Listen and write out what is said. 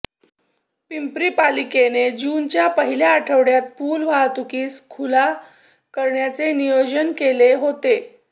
पिंपरी पालिकेने जूनच्या पहिल्या आठवड्यात पुल वाहतुकीस खुला करण्याचे नियोजन केले होते